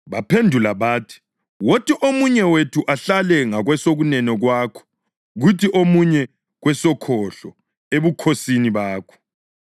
Baphendula bathi, “Wothi omunye wethu ahlale ngakwesokunene kwakho, kuthi omunye kwesokhohlo ebukhosini bakho.”